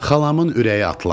Xalamın ürəyi atlandı.